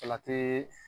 Salati